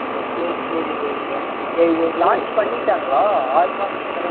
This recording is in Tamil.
சரி சரி இது launch பண்ணிட்டாங்களா ஆறு மாசத்துக்கு முன்னாடியே